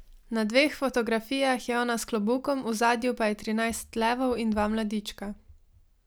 Na dveh fotografijah je ona s klobukom, v ozadju pa je trinajst levov in dva mladička.